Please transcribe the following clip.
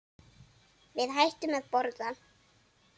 Við hættum að borða.